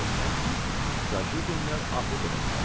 Fikirləşirəm ki, zajigilər avof elədilər.